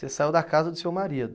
Você saiu da casa do seu marido.